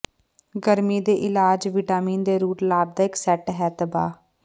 ਗਰਮੀ ਦੇ ਇਲਾਜ ਵਿਟਾਮਿਨ ਦੇ ਰੂਟ ਲਾਭਦਾਇਕ ਸੈੱਟ ਹੈ ਤਬਾਹ